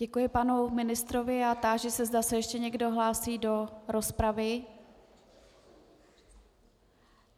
Děkuji panu ministrovi a táži se, zda se ještě někdo hlásí do rozpravy.